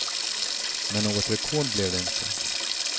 Men något rekord blev det inte.